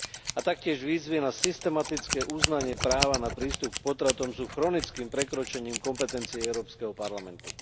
A taktiež výzvy na systematické uznanie práva na prístup k potratom sú chronickým prekročením kompetencií Európskeho parlamentu.